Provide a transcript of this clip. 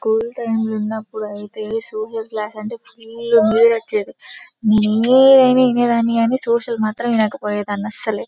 School time లో ఉన్నప్పుడు ఐతే లేకుంటే ఫుల్ వచ్చేది వినేదాన్ని కానీ సోషల్ మాత్రం వినకపోయేదాన్ని అస్సలు .